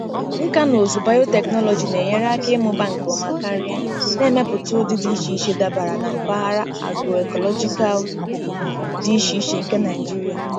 Nkà na ụzụ bayotechnology na-enyere aka ịmụba nke ọma karị, na-emepụta ụdị dị iche iche dabara na mpaghara agro-ecological dị iche iche nke Nigeria.